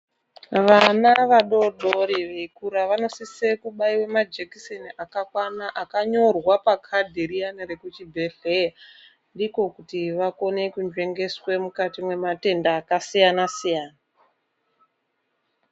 Vana vadoodori veyikura vanosise kubayirwa majekiseni akakwana akanyorwa pakadhi riyana rekuchibhedhlera ndiko kuti vakone kunzvengeswa mukati mematenda akasiyana siyana.